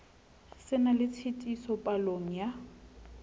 se na tshitiso palong ya